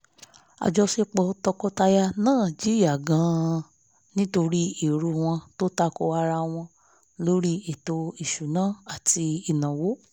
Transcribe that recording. àjọṣepọ̀ tọkọtaya náà jìyà gan-an nítorí èrò wọn tó tako ara wọn lórí ètò ìsunawó àti ìnáwó